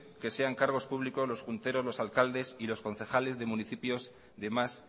que sean cargos públicos los punteros los alcaldes y los concejales de municipios de más